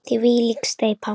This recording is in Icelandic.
Þvílík steypa!